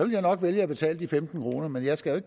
jeg nok vælge at betale de femten kroner men jeg skal